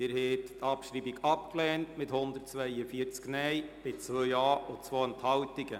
Sie haben die Abschreibung mit 142 Nein-Stimmen abgelehnt, bei 2 Ja-Stimmen und 2 Enthaltungen.